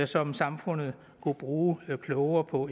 som samfundet kunne bruge klogere på